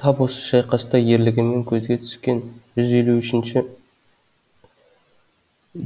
тап осы шайқаста ерлігімен көзге түскен жүз елу үшінші